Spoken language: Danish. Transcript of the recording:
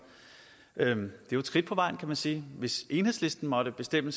det er jo et skridt på vejen kan man sige hvis enhedslisten måtte bestemme